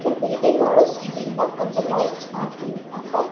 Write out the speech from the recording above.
இந்த பில்டிங் ஓட சீலிங்ல கொஞ்ச லைட்ஸ் மாட்டி இருக்காங்க.